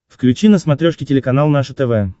включи на смотрешке телеканал наше тв